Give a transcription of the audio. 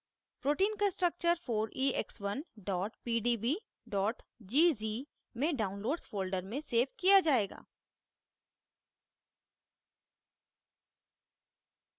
protein का structure 4ex1 pdb gz में downloads folder में सेव किया जायेगा